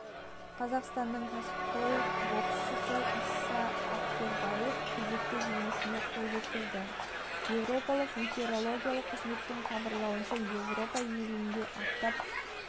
қазақстандық кәсіпқой боксшы иса ақбербаев кезекті жеңісіне қол жеткізді еуропалық метеорологиялық қызметінің хабарлауынша еуропаның елінде аптап